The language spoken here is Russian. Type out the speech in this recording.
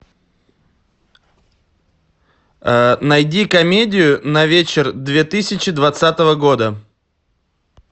найди комедию на вечер две тысячи двадцатого года